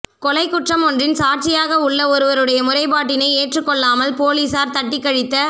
கொலைக் குற்றம் ஒன்றின் சாட்சியாக உள்ள ஒருவருடைய முறைப்பாட்டினை ஏற்றுக் கொள்ளாமல் பொலிஸார் தட்டிக்கழித்த